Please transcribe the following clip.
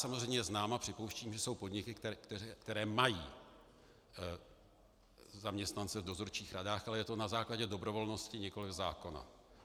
Samozřejmě znám a připouštím, že jsou podniky, které mají zaměstnance v dozorčích radách, ale je to na základě dobrovolnosti, nikoli zákona.